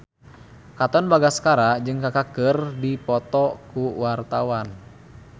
Katon Bagaskara jeung Kaka keur dipoto ku wartawan